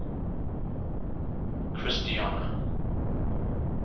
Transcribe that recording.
christiana